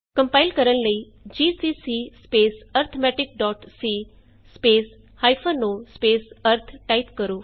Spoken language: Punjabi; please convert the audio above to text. ਕੰਪਾਇਲ ਕਰਨ ਲਈ ਜੀਸੀਸੀ arithmeticਸੀ o ਅਰਿਥ ਟਾਈਪ ਕਰੋ